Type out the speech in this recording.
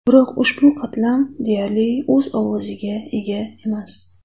Biroq ushbu qatlam deyarli o‘z ovoziga ega emas.